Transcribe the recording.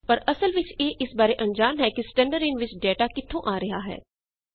ਪਰ ਅਸਲ ਵਿਚ ਇਹ ਇਸ ਬਾਰੇ ਅਣਜਾਣ ਹੈ ਕਿ ਸਟੈਂਡਰਡਿਨ ਵਿੱਚ ਡਾਟਾ ਕਿੱਥੋਂ ਆ ਰਿਹਾ ਹੈ